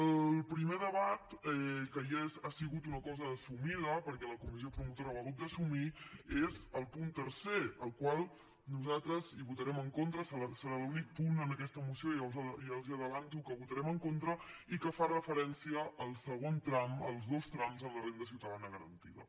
el primer debat que ja ha sigut una cosa assumida perquè la comissió promotora ho ha hagut d’assumir és el punt tercer al qual nosaltres votarem en contra serà l’únic punt en aquesta moció ja els ho avanço que votarem en contra i que fa referència al segon tram als dos trams en la renda ciutadana garantida